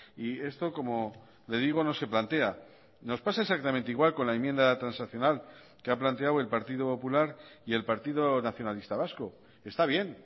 y esto como le digo no se plantea nos pasa exactamente igual con la enmienda transaccional que ha planteado el partido popular y el partido nacionalista vasco está bien